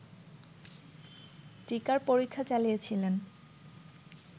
টীকার পরীক্ষা চালিয়েছিলেন